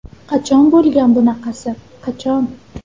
Qachon bo‘lgan bunaqasi, qachon?